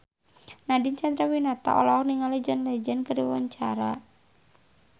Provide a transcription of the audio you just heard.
Nadine Chandrawinata olohok ningali John Legend keur diwawancara